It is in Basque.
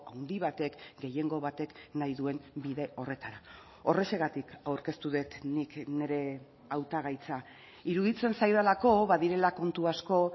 handi batek gehiengo batek nahi duen bide horretara horrexegatik aurkeztu dut nik nire hautagaitza iruditzen zaidalako badirela kontu asko